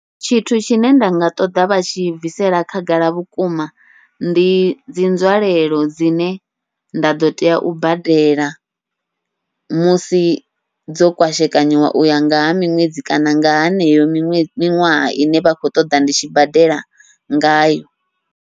Tshithu tshine nda nga ṱoḓa vha tshi bvisela khagala vhukuma, ndi dzi nzwalelo dzine nda ḓo tea u badela musi dzo kwashekanyiwa uya nga ha miṅwedzi kana nga haneyo miṅwedzi miṅwaha ine vha khou ṱoḓa ndi tshi badela ngayo.